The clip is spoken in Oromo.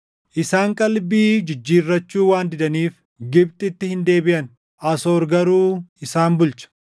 “Isaan qalbii jijjiirrachuu waan didaniif Gibxitti hin deebiʼan; Asoor garuu isaan bulcha.